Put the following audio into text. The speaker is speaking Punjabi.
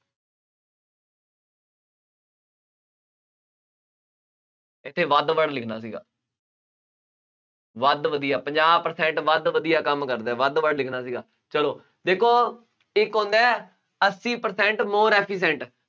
ਇੱਥੇ ਵੱਧ word ਲਿਖਣਾ ਸੀਗਾ। ਵੱਧ ਵਧੀਆ, ਪੰਜਾਹ percent ਵੱਧ ਵਧੀਆ ਕੰਮ ਕਰਦਾ ਹੈ। ਵੱਧ word ਲਿਖਣਾ ਸੀਗਾ, ਚੱਲੋ, ਦੇਖੋ, ਇੱਕ ਹੁੰਦਾ ਹੈ ਅੱਸੀ percent more efficient